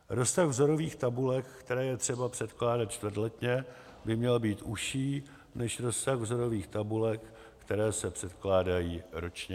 Rozsah vzorových tabulek, které je třeba předkládat čtvrtletně, by měl být užší než rozsah vzorových tabulek, které se předkládají ročně.